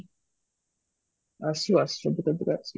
ଆସିବ ଆସିବ ଧୀରେ ଧୀରେ ଆସିବ